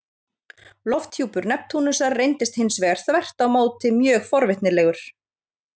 Lofthjúpur Neptúnusar reyndist hins vegar þvert á móti mjög forvitnilegur.